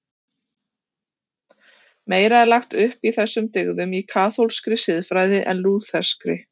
Meira er lagt upp úr þessum dyggðum í kaþólskri siðfræði en lútherskri.